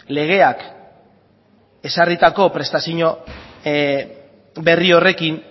legeak ezarritako prestazio berri horrekin